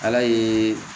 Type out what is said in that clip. Ala ye